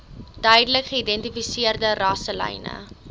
duidelik geïdentifiseerde rasselyne